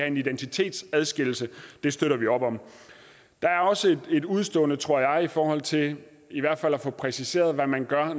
en identitetsadskillelse støtter vi op om der er også et udestående tror jeg i forhold til at få præciseret hvad man gør